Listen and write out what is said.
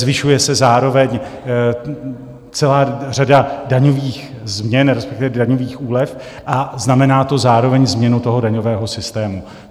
Zvyšuje se zároveň celá řada daňových změn, respektive daňových úlev, a znamená to zároveň změnu toho daňového systému.